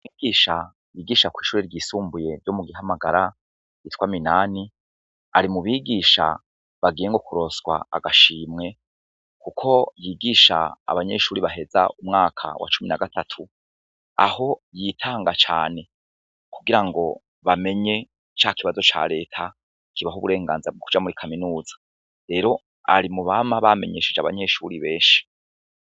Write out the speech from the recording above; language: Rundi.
Bigisha yigisha kw'ishuri ryisumbuye vyo mu gihamagara ritwa minani ari mu bigisha bagiye ngo kuroswa agashimwe, kuko yigisha abanyeshuri baheza umwaka wa cumi na gatatu aho yitanga cane kugira ngo bamenye ca kibazo ca leta baho uburenganza bw' ukuja muri kaminuza rero ari mu bama bamenyesheje abanyeshuri benshi.